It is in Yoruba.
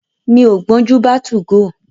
Mi ò gbọ́njù bá 2go.